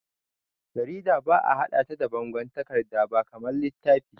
Jarida ba'a haɗe ta da bangon takarda ba kamar littafi.